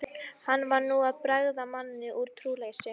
Hann var nú að bregða manni um trúleysi.